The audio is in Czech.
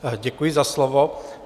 Děkuji za slovo.